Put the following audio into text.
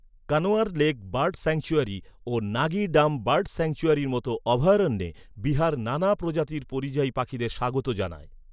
Kanwar lake bird sanctuary ও Nagi dam bird sanctuary মতো অভয়ারণ্যে বিহার নানা প্রজাতির পরিযায়ী পাখিদের স্বাগত জানায়।